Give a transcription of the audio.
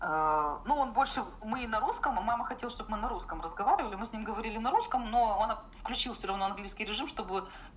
ну он больше мы на русском мама хотела чтобы мы на русском разговаривали мы с ним говорили на русском но он включил всё-равно английский режим чтобы